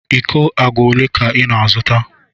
Íkó àgwà ólé ka ị na-azụta?